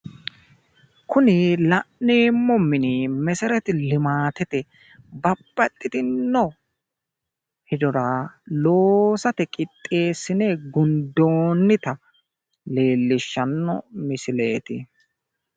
Kuni la'neemmo mini mesereti limaatete babbaxxitino hedora loosate qixxeessine gundoonnita leellishshannno misileeti.